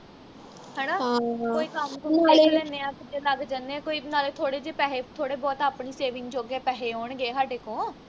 ਹਣਾ ਕੋਈ ਕੰਮ ਕੁੰਮ ਸਿੱਖ ਲੈਨੇ ਆ ਜ ਲੱਗ ਜਾਨੇ ਆ ਕੋਈ ਨਾਲੇ ਥੋੜੇ ਜੇ ਪੈਹੇ ਥੋੜੇ ਬਹੁਤ ਆਪਣੀ saving ਜੋਗੇ ਪੈਹੇ ਆਉਣਗੇ ਹਾਡੇ ਕੋ